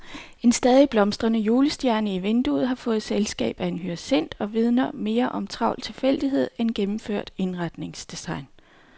En stadig blomstrende julestjerne i vinduet har fået selskab af en hyacint og vidner mere om travl tilfældighed end gennemført indretningsdesign.